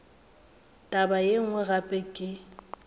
taba ye nngwe gape ke